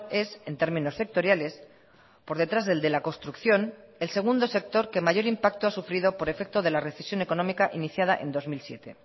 es en términos sectoriales por detrás del de la construcción el segundo sector que mayor impacto ha sufrido por efecto de la recesión económica iniciada en dos mil siete